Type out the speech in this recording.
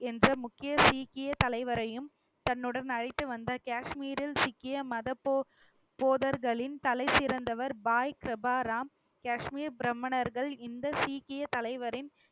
என்ற முக்கிய சீக்கிய தலைவரையும் தன்னுடன் அழைத்து வந்தார். காஷ்மீரில் சிக்கிய மத போத~ போதகர்களின் தலைசிறந்தவர் பாய் கிரபாராம் காஷ்மீர் பிராமணர்கள் இந்த சீக்கிய தலைவரின்